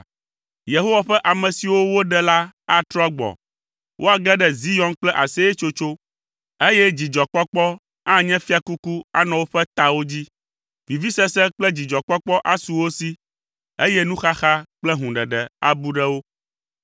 Yehowa ƒe ame siwo woɖe la atrɔ agbɔ. Woage ɖe Zion kple aseyetsotso, eye dzidzɔkpɔkpɔ anye fiakuku anɔ woƒe tawo dzi. Vivisese kple dzidzɔkpɔkpɔ asu wo si, eye nuxaxa kple hũɖeɖe abu ɖe wo.